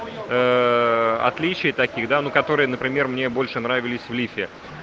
отличий таких да ну которые например мне больше нравились в лифе